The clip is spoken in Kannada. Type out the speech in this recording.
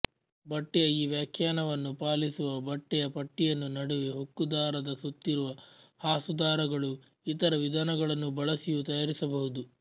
ಬಟ್ಟೆಯ ಈ ವ್ಯಾಖ್ಯಾನವನ್ನು ಪಾಲಿಸುವ ಬಟ್ಟೆಯ ಪಟ್ಟಿಯನ್ನು ನಡುವೆ ಹೊಕ್ಕುದಾರದ ಸುತ್ತಿರುವ ಹಾಸುದಾರಗಳು ಇತರ ವಿಧಾನಗಳನ್ನು ಬಳಸಿಯೂ ತಯಾರಿಸಬಹುದು